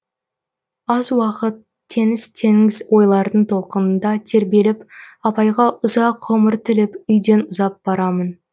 аз уақыт теңіз теңіз ойлардың толқынында тербеліп апайға ұзақ ғұмыр тілеп үйден ұзап барамын